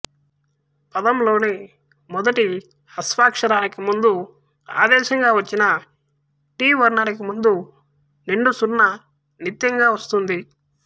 పదంలోని మొదటి హ్రస్వాక్షరానికి ముందు ఆదేశంగా వచ్చిన టి వర్ణానికి ముందు నిండుసున్న నిత్యంగా వస్తుంది